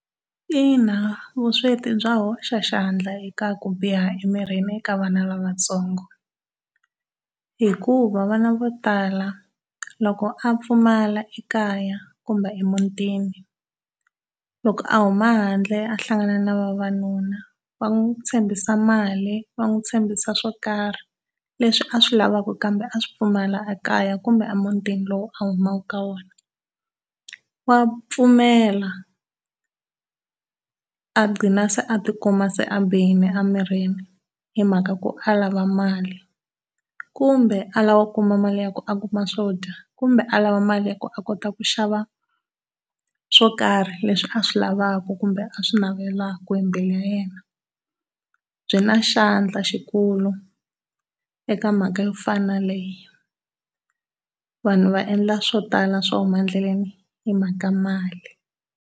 Ina, vusweti bya hoxa xandla eka ku biha emirini ka vana lavatsongo hikuva vana vo tala loko a pfumala ekaya kumbe emutini loko a huma handle a hlangana na vavanuna va n'wi tshembisi mali va n'wi tshembisi swo karhi leswi a swi laveka kambe a swi pfumala ekaya kumbe emutini lowu a humaka ka wona, wa pfumela a gqina se a ti kuma se a bihile emirini hi mhaka ku a lava mali kumbe a lava ku kuma mali ya ku a kuma swo dya kumbe a lava mali ya ku a kota ku xava swokarhi leswi a swi lavaka kumbe a swi navelaka embilwini ya yena. Byi na xandla xikulu eka mhaka yo fana na yaleyo. Vanhu va endla swo tala swo huma endleleni hi mhaka mali.